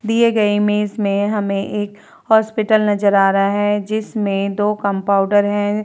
दिए गए इमेज में हमें एक हॉस्पिटल नज़र आ रहा है जिसमें दो कंपाउडर हैं।